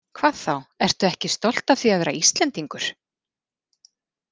Hvað þá, ertu ekki stolt af því að vera Íslendingur?